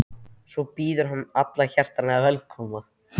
Svo býður hann alla hjartanlega velkomna.